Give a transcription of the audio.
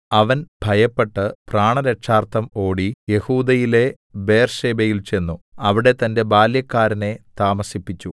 അവൻ ഭയപ്പെട്ട് പ്രാണരക്ഷാർത്ഥം ഓടി യെഹൂദയിലെ ബേർശേബയിൽ ചെന്നു അവിടെ തന്റെ ബാല്യക്കാരനെ താമസിപ്പിച്ചു